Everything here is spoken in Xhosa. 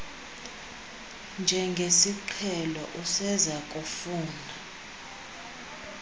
njengesiqhelo useza kufuna